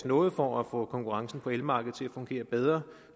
noget for at få konkurrencen på elmarkedet til at fungere bedre